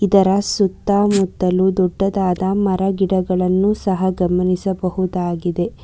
ಇದರ ಸುತ್ತ ಮುತ್ತಲು ದೊಡ್ಡದಾದ ಮರ ಗಿಡಗಳನ್ನು ಸಹ ಗಮನಿಸಬಹುದಾಗಿದೆ.